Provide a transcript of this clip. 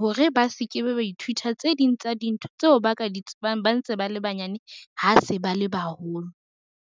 hore ba se ke be ba ithuta tse ding tsa dintho tseo ba ka di tsebang ba ntse ba le banyane ha se ba le baholo.